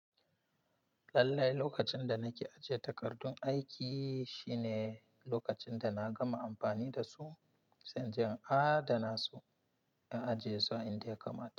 Lallai lokacin da nake aje takardun aiki shine lokacin da na gama amfani da su sai inje in adana su, in ajiye su a inda ya kamata.